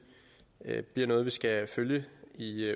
er noget vi skal følge i